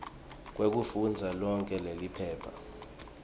kwekufundza lonkhe leliphepha